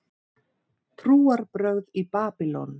Trúarbrögð í Babýlon